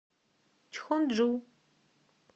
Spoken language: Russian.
чхонджу